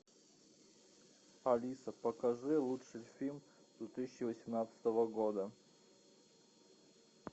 алиса покажи лучший фильм две тысячи восемнадцатого года